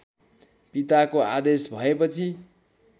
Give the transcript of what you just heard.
पिताको आदेश भएपछि